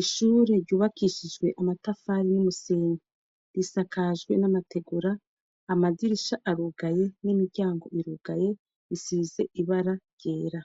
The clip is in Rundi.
Ishure ryubakishijwe amatafari n'umusenge risakajwe n'amategora amazirisha arugaye n'imiryango irugaye isize ibara ryera